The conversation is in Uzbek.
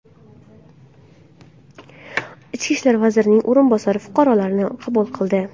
Ichki ishlar vazirining o‘rinbosari fuqarolarni qabul qildi.